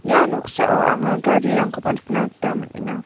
ia noksao anga garirangkoba nikna gita man·enga.